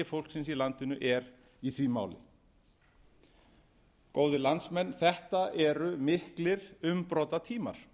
fólksins í landinu er í því máli góðir landsmenn þetta eru mikið umbrotatímar